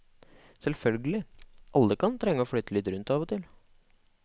Selvfølgelig, alle kan trenge å flyte litt rundt av og til.